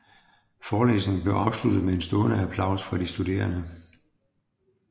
Forelæsningen blev afsluttet med stående applaus fra de studerende